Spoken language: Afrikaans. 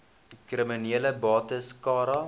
kriminele bates cara